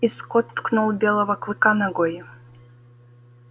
и скотт ткнул белого клыка ногой